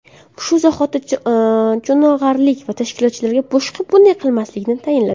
Shu zahoti cho‘ng‘aralik tashkilotchilarga boshqa bunday qilmaslikni tayinladi.